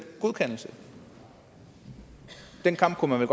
godkendelse den kamp kunne man